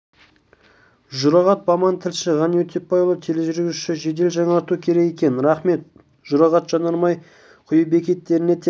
жұрағат баман тілші ғани өтепбайұлы тележүргізуші жедел жаңарту керек екен рахмет жұрағат жанармай құю бекеттерінде тек